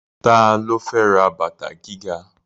Ta ló fẹ́ ra bàtà gíga?